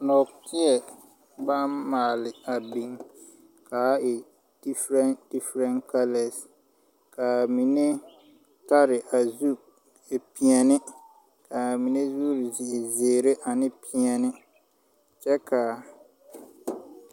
Noɔtei bang maale a bing kaa e different different kalors kaa mene tari a zu peɛne ,kaa mene zuri e ziiri ane peɛne kye ka a.